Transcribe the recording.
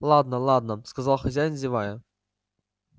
ладно ладно сказал хозяин зевая